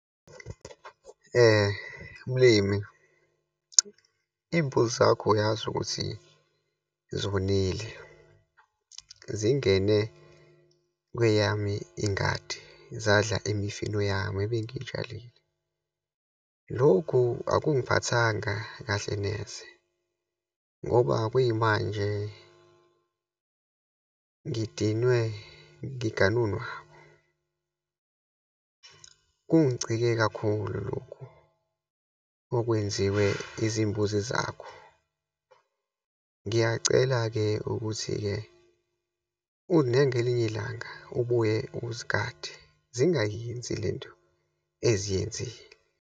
Mlimi, iyimbuzi zakho uyazi ukuthi zonile, zingene kweyami ingadi, zadla imifino yami ebengiyitshalile. Lokhu akungiphathanga kahle neze, ngoba kuyimanje ngidinwe ngigane unwabu. Kungicike kakhulu lokhu okwenziwe izimbuzi zakho. Ngiyacela-ke ukuthi-ke ngelinye ilanga ubuye uzigade, zingayenzi le nto eziyenzile.